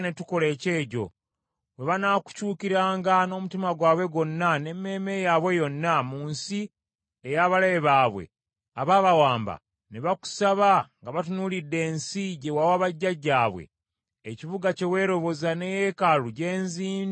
bwe banaakukyukiranga n’omutima gwabwe gwonna n’emmeeme yaabwe yonna mu nsi ey’abalabe baabwe abaabawamba, ne bakusaba nga batunuulidde ensi gye wawa bajjajjaabwe, ekibuga kye weeroboza ne yeekaalu gye nzimbidde erinnya lyo;